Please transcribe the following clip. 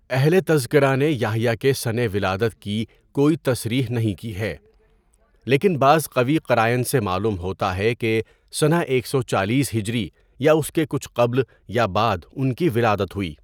اہلِ تذکرہ نے یحییٰ کے سنِ ولادت کی کوئی تصریح نہیں کی ہے، لیکن بعض قوی قرائن سے معلوم ہوتا ہے کہ سنہ ایک سو چالیس ھ یااس کے کچھ قبل یا بعد ان کی ولادت ہوئی.